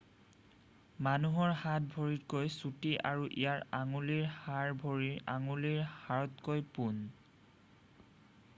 মানুহৰ হাত ভৰিতকৈ চুটি আৰু ইয়াৰ আঙুলিৰ হাড় ভৰিৰ আঙুলিৰ হাড়তকৈ পোন